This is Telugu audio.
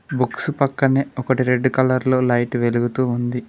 బుక్స్ పక్కనే ఒకటి రెడ్ కలర్ లో లైట్ వెలుగుతూ ఉంది.